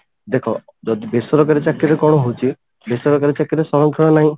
ଦେଖ ଯଦି ବେସରକାରୀ ଚାକିରିରେ କଣ ହଉଛି ବେସରକାରୀ ଚାକିରିରେ ସଂରକ୍ଷଣ ନାହିଁ